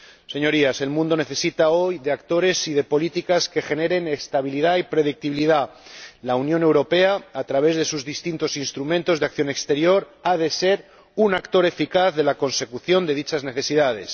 Señorías, el mundo necesita hoy actores y políticas que generen estabilidad y predictibilidad. La Unión Europea, a través de sus distintos instrumentos de acción exterior, ha de ser un actor eficaz en la consecución de dichas necesidades.